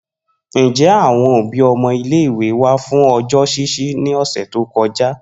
Njẹ awọn obi ọmọ ile-iwe wa fun ọjọ ṣiṣi ni ọsẹ to kọja?